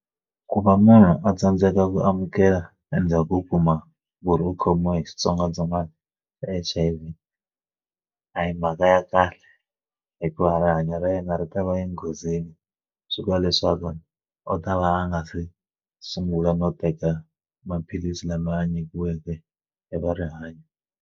Ku va munhu a tsandzeka ku amukela endzhaku u kuma murhi u khomiwa hi xitsongwatsongwana xa H_I_V a hi mhaka ya kahle hikuva rihanyo ra yena ri ta va enghozini swi vula leswaku u ta va a nga se sungula no teka maphilisi lama a nyikiweke hi va rihanyo.